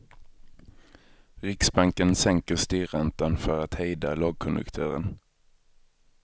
Riksbanken sänker styrräntan för att hejda lågkonjunkturen.